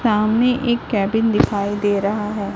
सामने एक केबिन दिखाई दे रहा है।